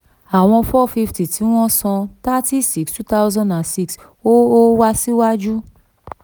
àwọn four fifty tí wọ́n san thirty six two thousand and six ò ò wà síwájú.